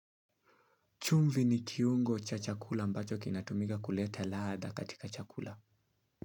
Chumvi ni kiungo cha chakula ambacho kinatumika kuleta ladha katika chakula.